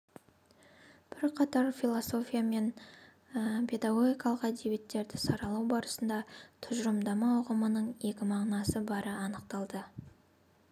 бірқатар философия және педагогикалық әдебиеттерді саралау барысында тұжырымдама ұғымының екі мағынасы бары анықталды